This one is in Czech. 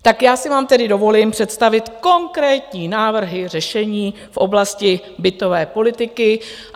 Tak já si vám tedy dovolím představit konkrétní návrhy řešení v oblasti bytové politiky.